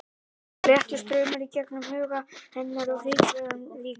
Það fór léttur straumur í gegnum huga hennar og hríslaðist um líkamann.